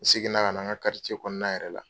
N segin na ka na n ka kɔnɔna yɛrɛ la.